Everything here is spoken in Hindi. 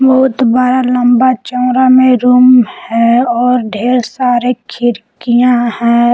बहुत बड़ा लंबा चौड़ा में रूम है और ढेर सारे खिड़कियां है।